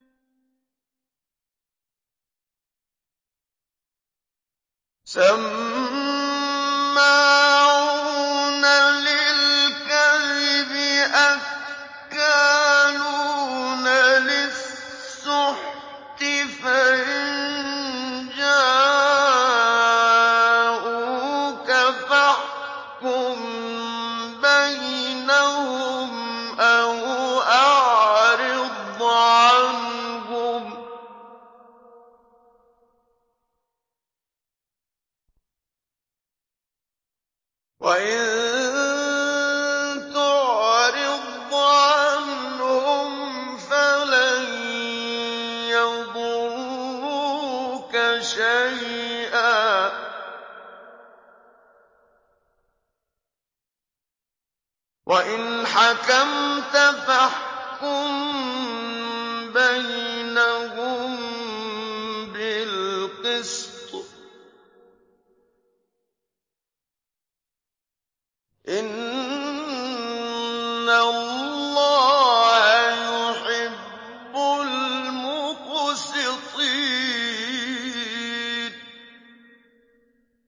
سَمَّاعُونَ لِلْكَذِبِ أَكَّالُونَ لِلسُّحْتِ ۚ فَإِن جَاءُوكَ فَاحْكُم بَيْنَهُمْ أَوْ أَعْرِضْ عَنْهُمْ ۖ وَإِن تُعْرِضْ عَنْهُمْ فَلَن يَضُرُّوكَ شَيْئًا ۖ وَإِنْ حَكَمْتَ فَاحْكُم بَيْنَهُم بِالْقِسْطِ ۚ إِنَّ اللَّهَ يُحِبُّ الْمُقْسِطِينَ